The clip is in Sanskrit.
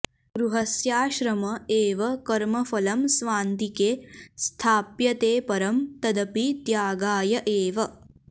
गृहस्याश्रम एव कर्मफलं स्वान्तिके स्थाप्यते परं तदपि त्यागाय एव